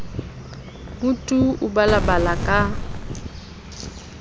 ho tu o balabala ka